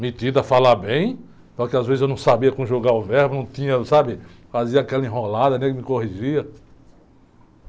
Metido a falar bem, só que às vezes eu não sabia conjugar o verbo, não tinha, sabe, fazia aquela enrolada, nem me corrigia.